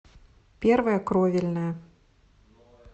первая кровельная